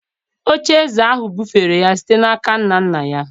oche-eze ahụ bufere ya site n’aka nna nna ya.